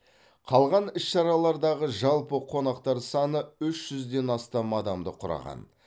қалған іс шаралардағы жалпы қонақтар саны үш жүзден астам адамды құраған